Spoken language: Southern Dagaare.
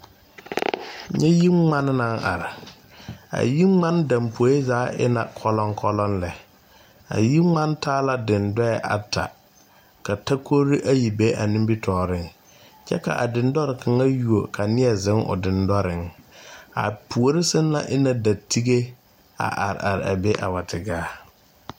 Nyɛ yingmane naŋ are a yingmane dapoe zaa e na kɔlɔŋkɔlɔŋ lɛ a yingmane taa la dendɔɛ ata ka takorre ayi be a nimitooreŋ kyɛ ka a dendɔre kaŋa yuo ka nie zeŋ o dendɔreŋ a puore sɛŋ na e na da tige a are are a be a wa te gaa.